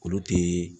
Olu tɛ